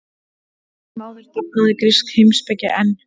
Samt sem áður dafnaði grísk heimspeki enn.